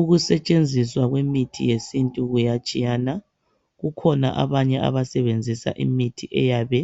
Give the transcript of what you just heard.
Ukusetshenziswa kwemithi yesintu kuyatshiyana kukhona abanye abasebenzisa imithi eyabe